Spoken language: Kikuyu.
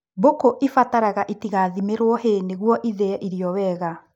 Mbũkũ ibataraga itigathimĩrwo hay nĩguo ithĩe irio wega